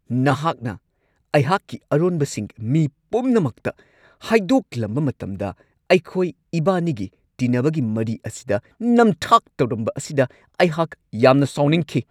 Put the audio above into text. ꯅꯍꯥꯛꯅ ꯑꯩꯍꯥꯛꯀꯤ ꯑꯔꯣꯟꯕꯁꯤꯡ ꯃꯤ ꯄꯨꯝꯅꯃꯛꯇ ꯍꯥꯏꯗꯣꯛꯂꯝꯕ ꯃꯇꯝꯗ ꯑꯩꯈꯣꯏ ꯏꯕꯥꯅꯤꯒꯤ ꯇꯤꯟꯅꯕꯒꯤ ꯃꯔꯤ ꯑꯁꯤꯗ ꯅꯝꯊꯥꯛ ꯇꯧꯔꯝꯕ ꯑꯁꯤꯗ ꯑꯩꯍꯥꯛ ꯌꯥꯝꯅ ꯁꯥꯎꯅꯤꯡꯈꯤ ꯫